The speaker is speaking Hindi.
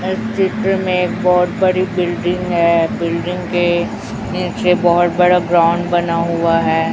इस चित्र मे एक बहोत बड़ी बिल्डिंग है बिल्डिंग के नीचे बहोत बड़ा ग्राउंड बना हुआ है।